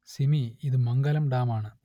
സിമി ഇതു മംഗലം ഡാം ആണ്